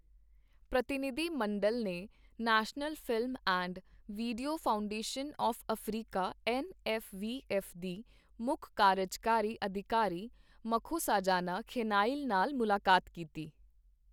ਪ੍ਰਤੀਨਿਧੀ ਮੰਡਲ ਨੇ national film and video foundation of Africa N F V F ਦੀ ਮੁੱਖ ਕਾਰਜਕਾਰੀ ਅਧਿਕਾਰੀ ਮਖੋਸਾਜਾਨਾ ਖੈਨਾਇਲ ਨਾਲ ਮੁਲਾਕਾਤ ਕੀਤੀ।